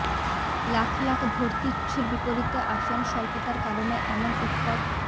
লাখ লাখ ভর্তিচ্ছুর বিপরীতে আসন স্বল্পতার কারণে এমন উৎকট